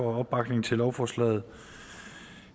opbakningen til lovforslaget